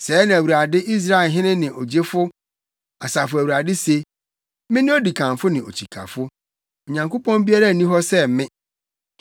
“Sɛɛ na Awurade Israelhene ne Ogyefo, Asafo Awurade se: Mene odikanfo ne okyikafo; Onyankopɔn biara nni hɔ sɛ me.